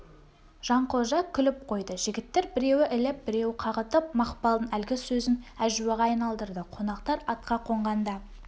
жанқожа күліп қойды жігіттер біреуі іліп біреуі қағытып мақпалдың әлгі сөзін әжуаға айналдырды қонақтар атқа қонғанда